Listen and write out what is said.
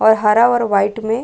और हरा और वाइट में --